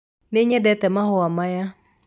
Nĩnyendete mahũa maya